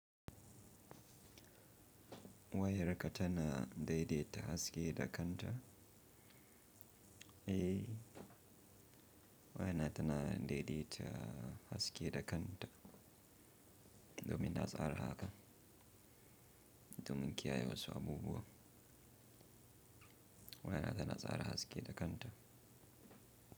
Wayarka tana daidaita haske da kanta, eh waya na tana daidaita haske da kanta domin na tsara hakan domin kiyaye wasu abubuwa. Waya na tana tsara haske da kanta.